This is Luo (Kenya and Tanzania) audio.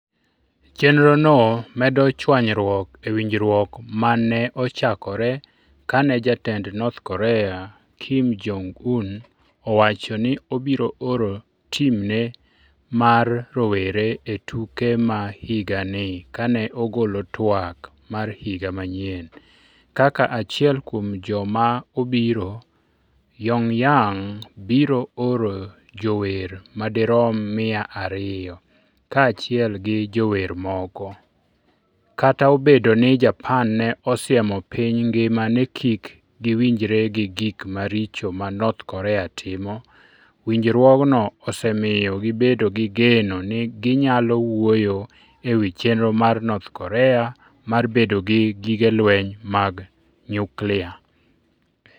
Chenrono medo chwanyruok e winjruok ma ne ochakore kane jatend North Korea, Kim Jong-un, owacho ni obiro oro timne mar rowere e tuke ma higani kane ogolo twak mar higa manyien. Kaka achiel kuom joma obiro, Pyongyang biro oro jower ma dirom mia ariyo, kaachiel gi jower moko. Kata obedo ni Japan ne osiemo piny ngima ni kik giwinjre gi gik maricho ma North Korea timo, winjruokno osemiyo gibedo gi geno ni ginyalo wuoyo e wi chenro mar North Korea mar bedo gi gige lweny mag nyuklia.